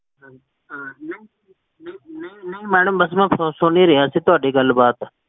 hello ਨਹੀ ਨਹੀ madam ਬੱਸ ਮੈਂ ਸੁਨ ਹੀ ਰਿਹਾ, ਜੀ ਤੁਹਾਡੀ ਗਲ ਬਾਤ